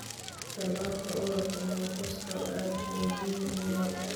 Tallaalka cudurka Newcastle aad buu muhiim u yahay.